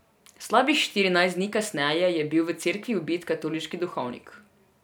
Slabih štirinajst dni kasneje je bil v cerkvi ubit katoliški duhovnik.